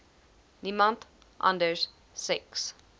niemand anders seks